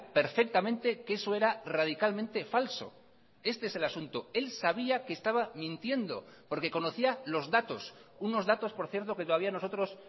perfectamente que eso era radicalmente falso este es el asunto él sabía que estaba mintiendo porque conocía los datos unos datos por cierto que todavía nosotros